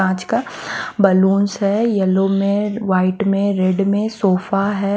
कांच का बलूंस है यलो में वाइट में रेड में सोफा हैं।